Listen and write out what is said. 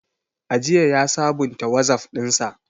Ajiya ya sabunta Wazaf ɗinsa.